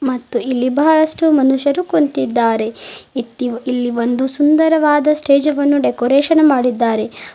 ಮತ್ತು ಇಲ್ಲಿ ಬಹಳಷ್ಟು ಮನುಷ್ಯರು ಕುಂತಿದ್ದಾರೆ ಇತ್ತಿ ಇಲ್ಲಿ ಒಂದು ಸುಂದರವಾದ ಸ್ಟೇಜ್ ವನ್ನು ಡೆಕೋರೇಷನ್ ಮಾಡಿದ್ದಾರೆ.